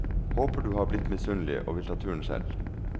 Håper du har blitt misunnelig og vil ta turen selv.